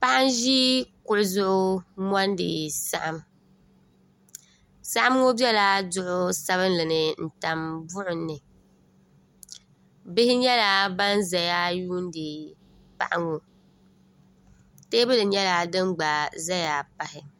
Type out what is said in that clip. Paɣa n ʒi kuɣu zuɣu n mondi saɣim saɣim ŋɔ biɛla duɣu sabinli ni n tam buɣum ni bihi nyɛla ban zaya yuuni paɣa ŋɔ teebuli nyɛla din gba zaya pahi.